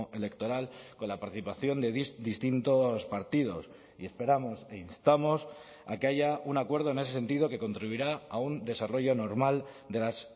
electoral con la participación de distintos partidos y esperamos e instamos a que haya un acuerdo en ese sentido que contribuirá a un desarrollo normal de las